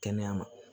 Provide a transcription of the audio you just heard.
Kɛnɛya ma